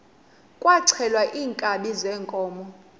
kwaxhelwa iinkabi zeenkomo